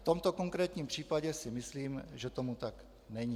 V tomto konkrétním případě si myslím, že tomu tak není.